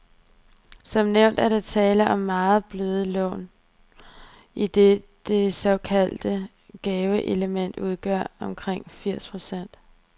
Som nævnt er der tale om meget bløde lån, idet det såkaldte gaveelement udgør omkring firs procent.